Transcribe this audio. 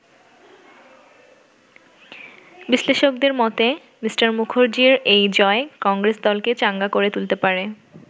বিশ্লেষকদের মতে, মি. মুখার্জির এই জয় কংগ্রেস দলকে চাঙ্গা করে তুলতে পারে।